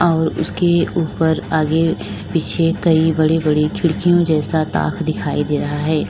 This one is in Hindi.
और उसके ऊपर आगे पीछे कई बड़ी बड़ी खिड़कियों जैसा ताख दिखाई दे रहा है।